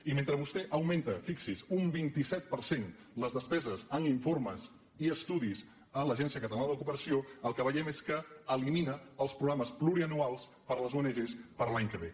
i mentre vostè augmenta fixi s’hi un vint set per cent les despeses en informes i estudis a l’agència catalana de cooperació el que veiem és que elimina els programes pluriennals per a les ong per a l’any que ve